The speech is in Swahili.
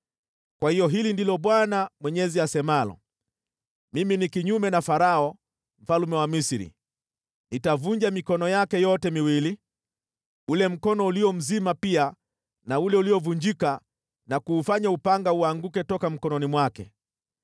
Kwa hiyo hili ndilo Bwana Mwenyezi asemalo: Mimi ni kinyume na Farao mfalme wa Misri. Nitavunja mikono yake yote miwili, ule mkono ulio mzima pia na ule uliovunjika na kuufanya upanga uanguke toka mkononi mwake.